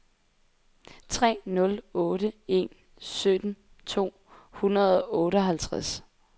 tre nul otte en sytten to hundrede og otteoghalvtreds